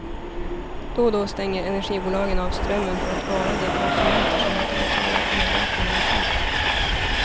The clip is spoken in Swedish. Då och då stänger energibolagen av strömmen för att varna de konsumenter som inte betalar elräkningarna i tid.